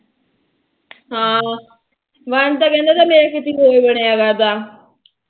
ਹਾ ਵੰਸ਼ ਤਾ ਕਹਿੰਦਾ ਮੇਰਾ ਕਿਤੇ ਹੋਰ ਬਣਿਆ ਕਰਦਾ